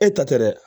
E ta tɛ dɛ